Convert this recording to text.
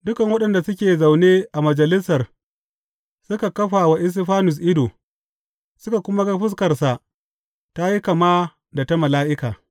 Dukan waɗanda suke zaune a Majalisar suka kafa wa Istifanus ido, suka kuma ga fuskarsa ta yi kama da ta mala’ika.